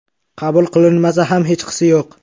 Qabul qilinmasa ham hechqisi yo‘q.